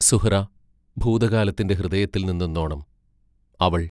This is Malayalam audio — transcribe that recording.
സുഹ്റാ ഭൂതകാലത്തിന്റെ ഹൃദയത്തിൽ നിന്നെന്നോണം അവൾ